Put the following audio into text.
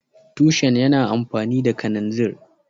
Tushen yana amfani da kananzir